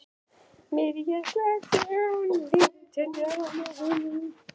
Mirja, slökktu á niðurteljaranum.